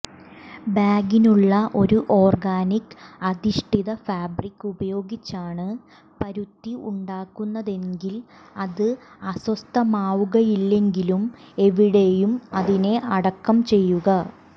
ബാഗിനുള്ള ഒരു ഓർഗാനിക് അധിഷ്ഠിത ഫാബ്രിക് ഉപയോഗിച്ചാണ് പരുത്തി ഉണ്ടാക്കുന്നതെങ്കിൽ അത് അസ്വസ്ഥമാവുകയില്ലെങ്കിലും എവിടെയും അതിനെ അടക്കം ചെയ്യുക